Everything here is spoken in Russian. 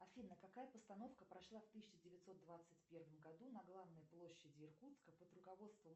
афина какая постановка прошла в тысяча девятьсот двадцать первом году на главной площади иркутска под руководством